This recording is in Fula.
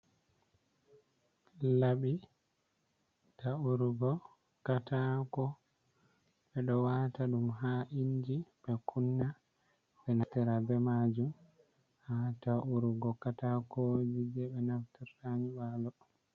Labi, ta’urugo katako ɓeɗo wata ɗum ha inji ɓe kunna ɓe naftira be majum ha ta' urugo katakoji je ɓe naftirta nyiɓalo.